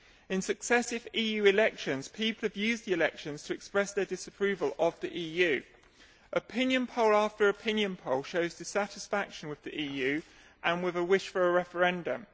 In successive EU elections, people have used the elections to express their disapproval of the EU. Opinion poll after opinion poll shows dissatisfaction with the EU and a wish for a referendum.